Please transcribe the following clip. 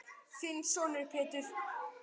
Þinn sonur, Pétur.